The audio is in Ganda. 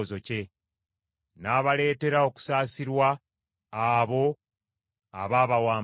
N’abaleetera okusaasirwa abo abaabawambanga.